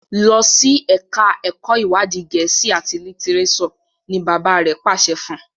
Losi èka èko iwadi Gèésì at litireso! ní bàbá rẹ pàṣẹ fún.